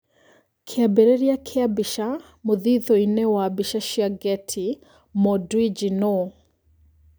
Kĩambĩrĩria kĩa mbica, mũthithũ-inĩ wa mbica cia Getty, Mo Dewji nũ?